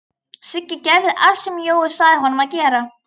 Siggi gerði allt sem Jói sagði honum að gera.